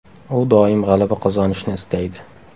U doim g‘alaba qozonishni istaydi.